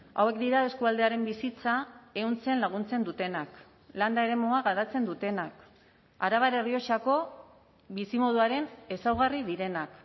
hauek dira eskualdearen bizitza ehuntzen laguntzen dutenak landa eremua garatzen dutenak arabar errioxako bizimoduaren ezaugarri direnak